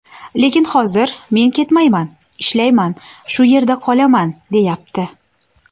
Lekin hozir ‘men ketmayman, ishlayman, shu yerda qolaman’, deyapti.